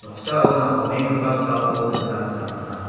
noksao napangenggipa salko nikna gita man·a.